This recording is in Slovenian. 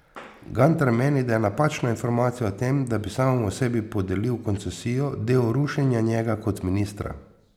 Gantar meni, da je napačna informacija o tem, da bi samemu sebi podelil koncesijo, del rušenja njega kot ministra.